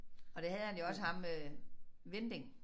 Og det havde han jo også ham øh Winding